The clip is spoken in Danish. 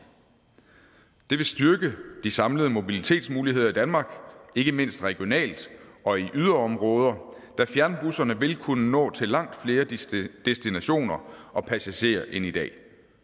det vil styrke de samlede mobilitetsmuligheder i danmark ikke mindst regionalt og i yderområder da fjernbusserne vil kunne nå til langt flere destinationer og passagerer end i dag